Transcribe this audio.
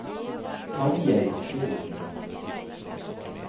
Tarjei Frydenlund